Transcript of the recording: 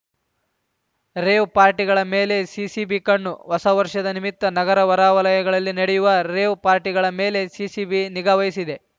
rave ಪಾರ್ಟಿಗಳ ಮೇಲೆ CCB ಕಣ್ಣು ಹೊಸ ವರ್ಷದ ನಿಮಿತ್ತ ನಗರ ಹೊರವಲಯಗಳಲ್ಲಿ ನಡೆಯುವ ರೇವ್‌ ಪಾರ್ಟಿಗಳ ಮೇಲೆ ಸಿಸಿಬಿ ನಿಗಾವಹಿಸಿದೆ